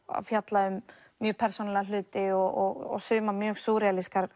að fjalla um mjög persónulega hluti og sumar mjög